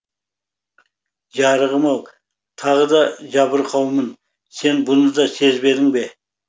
жарығым ау тағы да жабырқаумын сен бұны да сезбедің бе